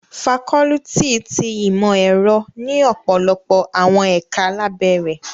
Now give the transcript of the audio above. Fakọluti ti Imọ-ẹrọ ni ọpọlọpọ awọn ẹka labẹ rẹ